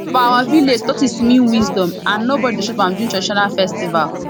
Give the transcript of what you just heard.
for our village tortoise mean wisdom and nobody dey chop am during traditional festival